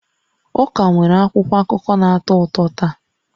Ụka nwere akwụkwọ akụkọ na-atọ ụtọ taa